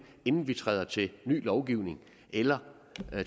inden vi skrider til ny lovgivning eller